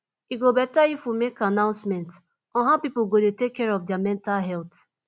e go beta if we make announcement on how people go dey take care of their mental health